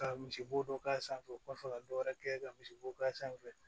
Ka misibo dɔ k'a sanfɛ u b'a fɔ ka dɔ wɛrɛ kɛ ka misibo k'a sanfɛ